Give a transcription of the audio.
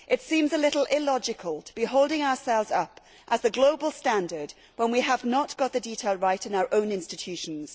It seems a little illogical to be holding ourselves up as the global standard when we have not got the detail right in our own institutions.